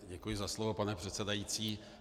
Děkuji za slovo, pane předsedající.